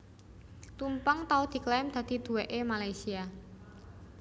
Tumpeng tau diklaim dadi duwèkké Malaysia